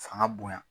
Fanga bonya